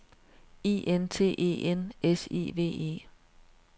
I N T E N S I V E